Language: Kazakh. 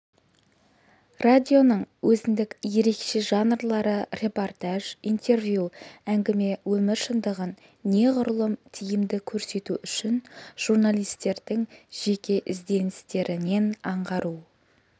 радионың өзіндік ерекше жанрлары репортаж интервью әңгіме өмір шындығын неғұрлым тиімді көрсету үшін журналистердің жеке ізденістерінен аңғару